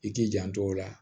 I k'i janto o la